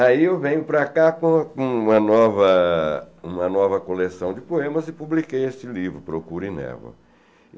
Aí eu venho para cá com uma nova uma nova coleção de poemas e publiquei este livro, Procure Névoa.